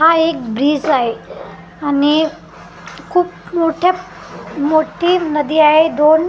हा एक ब्रिज आहे आणि खूप मोठ्या मोठी नदी आहे दोन --